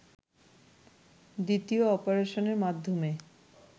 দ্বিতীয় অপারেশনের মাধ্যমে